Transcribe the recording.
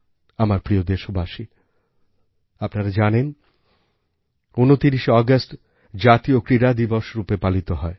আমার প্রিয় দেশবাসী আপনারা জানেন ২৯ শে আগস্ট জাতীয় ক্রীড়া দিবস রূপে পালিত হয়